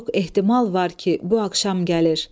Çok ehtimal var ki, bu axşam gəlir.